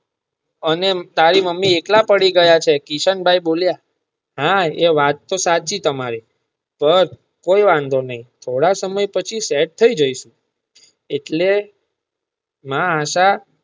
અને તારી મમ્મી એકલા પડી ગયા છે કિશન ભાઈ બોલિયાં હા એ વાત તો સાચી તમારી જરાકકોઈ વાંધો નાઈ થોડાક સમય પછી સેટ થાય જાસુ એટલે માં હતા.